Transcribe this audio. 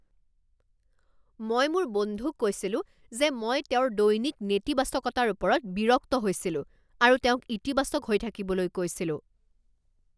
মই মোৰ বন্ধুক কৈছিলো যে মই তেওঁৰ দৈনিক নেতিবাচকতাৰ ওপৰত বিৰক্ত হৈছিলো আৰু তেওঁক ইতিবাচক হৈ থাকিবলৈ কৈছিলো।